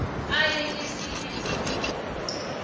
aye kesinye isikolo